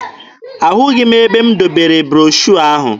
Ahụghị m ebe m debere broshuọ ahụ.